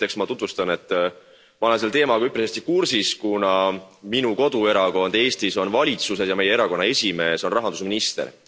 Esiteks ma tutvustan, et ma olen selle teemaga üpris hästi kursis, kuna minu koduerakond Eestis on valitsuses ja meie erakonna esimees on rahandusminister.